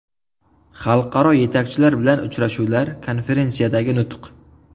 Xalqaro yetakchilar bilan uchrashuvlar, konferensiyadagi nutq.